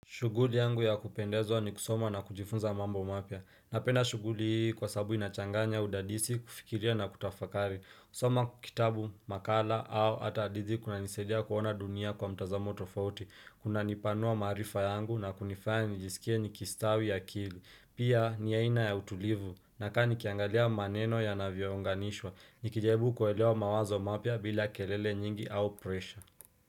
Shughuli yangu ya kupendezwa ni kusoma na kujifunza mambo mapya. Napenda shughuli hii kwa sababu inachanganya udadisi, kufikiria na kutafakari. Kusoma kitabu, makala au hata hadithi kuna nisaidia kuona dunia kwa mtazamo tofauti. Unanipanua maarifa yangu na kunifanya nijisikie nikistawi akili. Pia ni aina ya utulivu. Nakaa nikiangalia maneno yanavyounganishwa. Nikijaribu kuelewa mawazo mapya bila kelele nyingi au pressure.